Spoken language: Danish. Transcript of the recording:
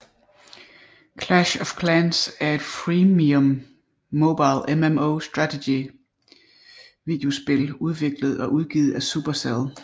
Clash of Clans er et freemium mobil MMO strategi videospil udviklet og udgivet af Supercell